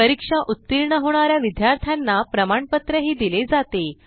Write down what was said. परीक्षा उत्तीर्ण होणा या विद्यार्थ्यांना प्रमाणपत्रही दिले जाते